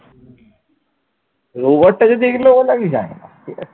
robot টা যদি এইগুলো বলে আমি জানি না ঠিক আছে ।